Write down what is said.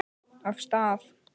Af stað!